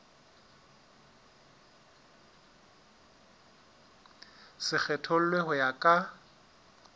se kgethollwe ho ya ka